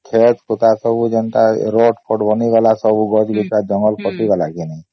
କ୍ଷେତ ଖୁତ୍ତା ସବୁ ଯେନ୍ତା ରୋଡ ବନି ଗଲା ସବୁ ଗଛ ଗୁଚ୍ଛା ଜଙ୍ଗଲ କଟି ଗଲା କି ନାଇ